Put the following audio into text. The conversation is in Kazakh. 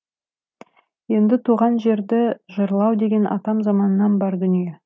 енді туған жерді жырлау деген атам заманнан бар дүние